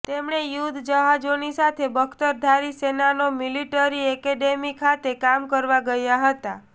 તેમણે યુદ્ધ જહાજોની સાથે બખ્તરધારી સેનાનો મિલિટરી એકેડેમી ખાતે કામ કરવા ગયા હતા